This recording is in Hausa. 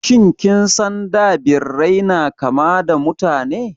Shin kin san da Birai na kama da Mutane?